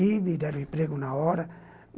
E me deram emprego na hora.